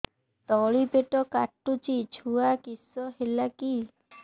ତଳିପେଟ କାଟୁଚି ଛୁଆ କିଶ ହେଲା କି